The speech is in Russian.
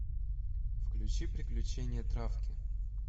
включи приключения травки